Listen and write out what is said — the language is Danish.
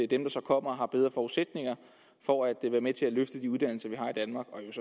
der så kommer har bedre forudsætninger for at være med til at løfte de uddannelser vi har i danmark og